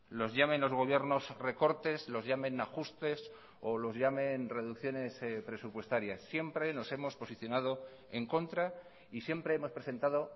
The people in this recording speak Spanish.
los llamen los gobiernos recortes los llamen ajustes o los llamen reducciones presupuestarias siempre nos hemos posicionado en contra y siempre hemos presentado